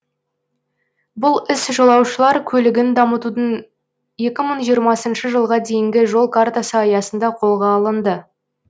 бұл іс жолаушылар көлігін дамытудың екі мың жиырмасыншы жылға дейінгі жол картасы аясында қолға алынды